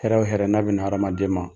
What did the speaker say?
Hɛrɛ wo hɛrɛ , n'a be na hadamaden ma